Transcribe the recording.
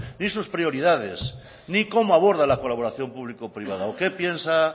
ni sus prioridades ni cómo aborda la colaboración público privada o qué piensa